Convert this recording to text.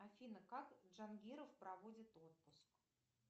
афина как джангиров проводит отпуск